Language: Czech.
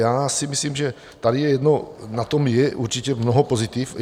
Já si myslím, že tady je jedno, na tom je určitě mnoho pozitiv.